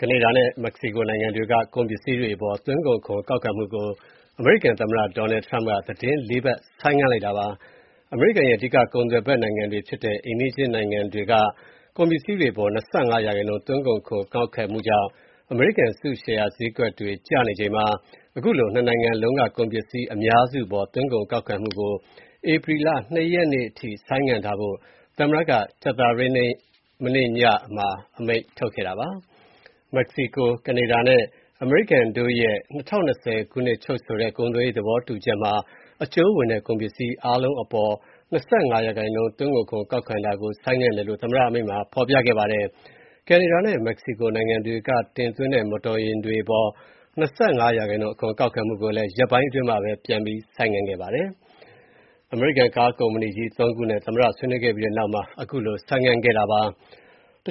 ကနေဒါနဲ့မက္ကဆီကိုနိုင်ငံတွေက ကုန်ပစ္စည်းတွေအပေါ် သွင်းကုန်ခွန်ကောက်ခံမှုကို အမေရိကန်သမ္မတ Donald Trump က သီတင်းလေးပတ် ဆိုင်းငံ့လိုက်ပါတယ်။ အမေရိကန်ရဲ့ အဓိက ကုန်သွယ်ဖက်နိုင်ငံတွေဖြစ်တဲ့ အိမ်နီးချင်းနိုင်ငံတွေက ကုန်ပစ္စည်းတွေအပေါ် ၂၅% သွင်းကုန်ခွန်ကောက်ခံမှုကြောင့် အမေရိကန်အစုရှယ်ယာဈေးတွေကျနေချိန်မှာ ခုလို နှစ်နိုင်ငံ လုံးက ကုန်ပစ္စည်းအများစုအပေါ် သွင်းကုန်ခွန်ကောက်ခံမှုကို ဧပြီလ (၂) ရက်နေ့အထိ ဆိုင်းထားဖို့ သမ္မတက ကြာသပတေးနေ့ ညနေမှာ အမိန့်ထုတ်ခဲ့တာပါ။ မက္ကဆီကို-ကနေဒါနဲ့ အမေရိကန်တို့ရဲ့ ၂၀၂၀ ခုနှစ်ချုပ်ဆိုခဲ့တဲ့ ကုန်သွယ်ရေးသဘောတူချက်မှာ အကျုံးဝင်တဲ့ ကုန်ပစ္စည်းအားလုံးအပေါ် ၂၅% သွင်းကုန်ခွန် ကောက်ခံတာကို ဆိုင်းငံ့တယ်လို့ သမ္မတ အမိန့်မှာ ဖော်ပြခဲ့ပါတယ်။ ကနေဒါနဲ့ မက္ကဆီကိုနိုင်ငံတွေကတင်သွင်းတဲ့ မော်တော်ယာဉ်တွေအပေါ် ၂၅% အခွန်ကောက်ခံမှုကိုလည်း ရက်ပိုင်းအတွင်းမှာပဲ ပြန်ပြီး ဆိုင်းခဲ့ပါတယ်။ အမေရိကန် ကားကုမ္ပဏီကြီးသုံးခုနဲ့ သမ္မတဆွေးနွေးခဲ့ပြီးနောက်မှာ ဆိုင်းငံ့ခဲ့တာဖြစ်ပါတ